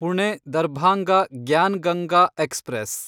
Pune Darbhanga Gyan Ganga express